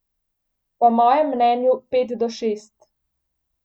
Po mojem mnenju pet do šest.